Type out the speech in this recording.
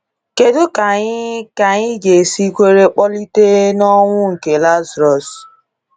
Kedụ ka anyị ka anyị ga esi kwere mkpọlite n'onwụ nke Lazarus?